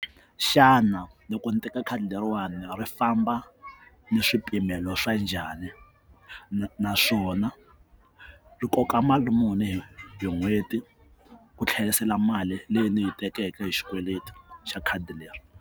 Xana loko ndzi teka khadi leriwani ri famba ni swipimelo swa njhani ni naswona ri koka mali muni hi n'hweti ku tlherisela mali leyi ndzi yi tekeke hi xikweleti xa khadi leri.